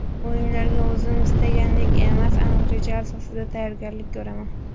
O‘yinlarga o‘zim istagandek emas, aniq reja asosida tayyorgarlik ko‘raman.